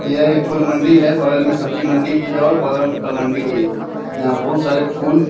यह एक फूल मंडी है बगल में सब्जी मंडी भी है और बगल में फल मंडी भी है यहाँ बहुत सारे फूल --